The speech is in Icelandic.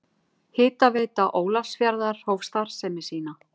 Hitaveita Ólafsfjarðar hóf starfsemi sína.